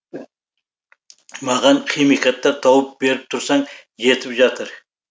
маған химикаттар тауып беріп тұрсаң жетіп жатыр